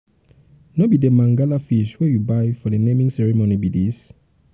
no be the mangala fish wey you buy for the naming ceremony be dis?